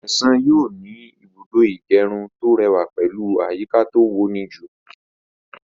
Ṣẹ̀san yóò ní Ìbùdó ìgẹrun tó rẹwà pẹ̀lú àyíká to woníjú